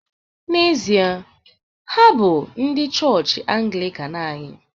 N’ezie, ha bụ ndị chọọchị Anglịkan anyị